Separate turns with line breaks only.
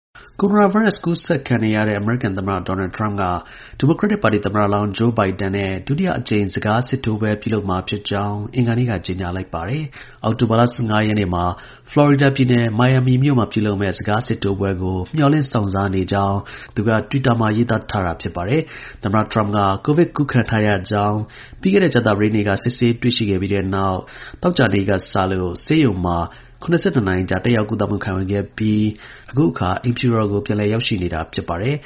ကိုရိုနာ ဗိုင်းရပ်စ် ကူးစက်ခံရနေရတဲ့ အမေရိကန် သမ္မတ ဒေါ်နယ်ထရမ့်က ဒီမိုကရက်တစ်ပါတီ သမ္မတလောင်း Joe Bidenနဲ့ ဒုတိယအကြိမ် စကားစစ်ထိုးပွဲပြုလုပ်မှာ ဖြစ်ကြောင်း အင်္ဂါနေ့က ကြေညာလိုက်ပါတယ်။ အောက်တိုဘာလ ၁၅ ရက်နေ့မှာ ဖလော်ရီဒါပြည်နယ် Miami မြို့မှာ ပြုလုပ်မယ့် စကားစစ်ထိုးပွဲကို မျှော်လင့်စောင့်စားနေကြောင်း သူက တွစ်တာမှာ ရေးသား ထားတာ ဖြစ်ပါတယ်။ သမ္မတ ထရမ့်က ကိုဗစ်ကူးခံထားရကြောင်း ပြီးခဲ့တဲ့ ကြာသပတေးနေ့က စစ်ဆေးတွေ့ရှိခဲ့ပြီးတဲ့နောက် သောကြာနေ့ကစလို့ ဆေးရုံ မှာ ၇၂ နာရီကြာ တက်ရောက်ကုသမှုခံရယူခဲ့ပြီး အခုအခါ အိမ်
ဖြူတော်ကို ပြန်လည်ရောက်ရှိနေတာ ဖြစ်ပါတယ်